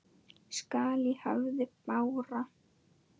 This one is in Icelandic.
skall í hafi bára.